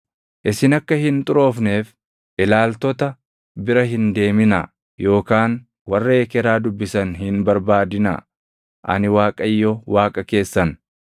“ ‘Isin akka hin xuroofneef ilaaltota bira hin deeminaa yookaan warra ekeraa dubbisan hin barbaadinaa. Ani Waaqayyo Waaqa keessan.